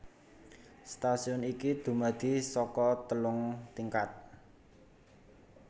Stasiun iki dumadi saka telung tingkat